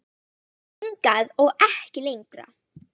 Hingað og ekki lengra